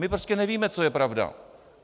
My prostě nevíme, co je pravda.